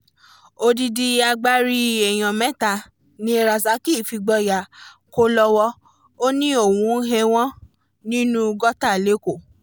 odidi agbárí èèyàn mẹ́ta ni rasaq fìgboyà kọ́ lọ́wọ́ ó ní òun hẹ́wọ̀n nínú gọ́tà lẹ́kọ̀ọ́